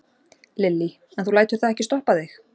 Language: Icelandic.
Lillý: En þú lætur það ekki stoppa þig?